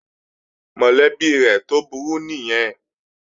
Mọ̀lẹ́bí rẹ̀ tó burú nìyẹn